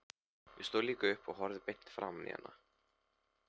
Ég stóð líka upp og horfði beint framan í hana.